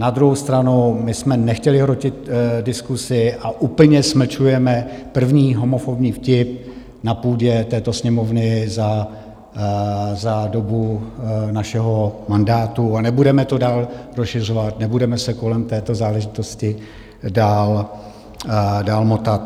Na druhou stranu my jsme nechtěli hrotit diskusi a úplně smlčujeme první homofobní vtip na půdě této Sněmovny za dobu našeho mandátu a nebudeme to dál rozšiřovat, nebudeme se kolem této záležitosti dál motat.